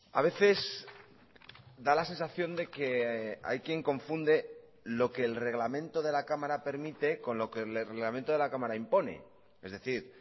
a veces da la sensación de que hay quien confunde lo que el reglamento de la cámara permite con lo que el reglamento de la cámara impone es decir